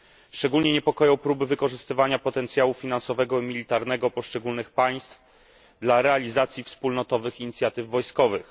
Szczególnie niepokoją próby wykorzystywania potencjału finansowego i militarnego poszczególnych państw dla realizacji wspólnotowych inicjatyw wojskowych.